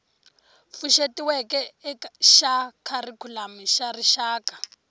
pfuxetiweke xa kharikhulamu xa rixaka